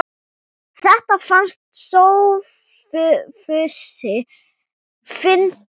Þetta fannst Sófusi fyndið.